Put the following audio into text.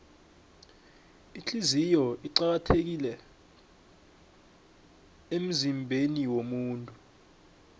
ihliziyo iqakathekile emzimbeniwomuntu